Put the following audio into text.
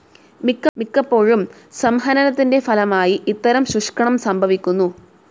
മിക്കപ്പോഴും സംഹനനത്തിൻ്റെ ഫലമായി ഇത്തരം ശുഷ്ക്കണം സംഭവിക്കുന്നു.